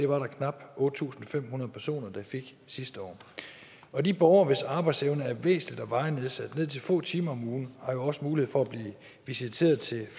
var knap otte tusind fem hundrede personer der fik det sidste år og de borgere hvis arbejdsevne er væsentligt og varigt nedsat ned til få timer om ugen har jo også mulighed for at blive visiteret til